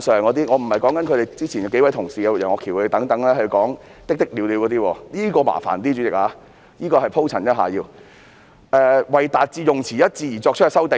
我不是好像之前數位同事，如楊岳橋議員等討論"的的了了"，主席，這一點比較麻煩，我要鋪陳一下，便是關於"為達致用詞一致而作出的修訂"。